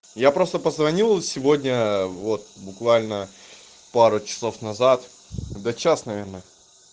я просто позвонил сегодня вот буквально пару часов назад когда час наверное